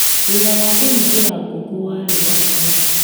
Wĩra wa kũhingĩra ngũkũ warĩ o wao